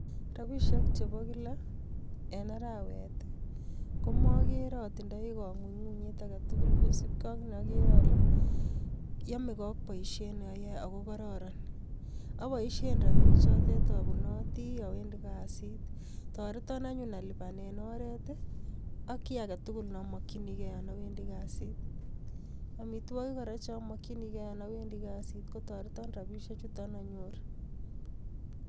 Ropisiek chepo kila en arawet komakere atinye kang'unyng'unyet agetugul kosupkei ak neakere ale yameke ak poisiet neayae akokororon aboisien ropinik chotok apunoti awendi kasit, toreton anyun alipanen oret ak kiy agetugul namakchinigei Yan awendi kasit amitwokik kora chomokchinigei yon awendi kasit kotoreton ropisiek choton nanyorun